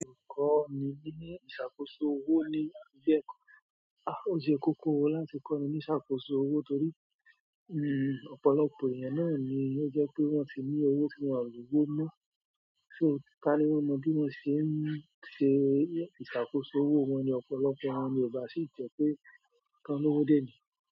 Kọ́ ni ní ìṣàkóso owó ni o jẹ́. A ó jẹ́ kókó wo láti kọ́ni ní ìṣàkóso owó torí, hmm ọ̀pọ̀lọpọ̀ ènìyàn náà ni ó jẹ́ pé wọ́n ti ní owó tí wọ́n á lówó mọ́. So ká ni wọn mọ bí wọ́n ṣe ń ṣe ìṣàkóso owó wọn ni ọ̀pọ̀lọpọ̀ wọn ni ò bá sí jẹ́ pé tán lówó dé ni.